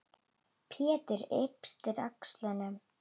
Pétur yppti öxlum.